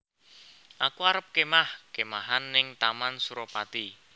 Aku arep kemah kemahan ning Taman Suropati